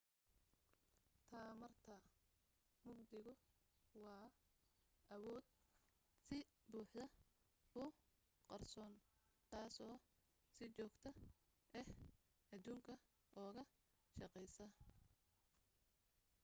tamarta mugdigu waa awood si buuxda u qarsoon taasoo si joogta ah aduunka uga shaqaysa